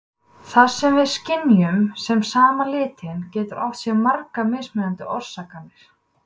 Það sem við skynjum sem sama litinn getur átt sér margar mismunandi orsakir.